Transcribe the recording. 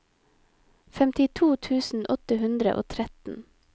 femtito tusen åtte hundre og tretten